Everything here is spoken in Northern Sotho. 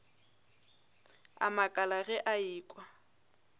a makala ge a ekwa